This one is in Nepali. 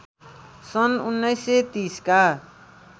सन् १९३० का